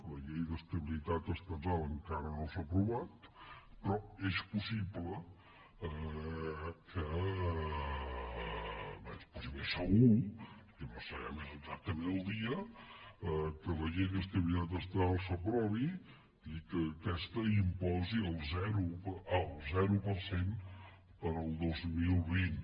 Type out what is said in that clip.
la llei d’estabilitat estatal encara no s’ha aprovat però és possible bé és possible segur el que no sabem és exactament el dia que la llei d’estabilitat estatal s’aprovi i que aquesta imposi el zero per cent per al dos mil vint